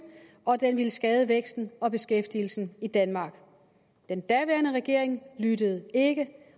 og at den ville skade væksten og beskæftigelsen i danmark den daværende regering lyttede ikke